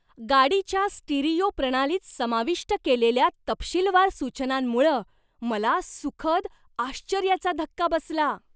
गाडीच्या स्टिरिओ प्रणालीत समाविष्ट केलेल्या तपशीलवार सूचनांमुळं मला सुखद आश्चर्याचा धक्का बसला.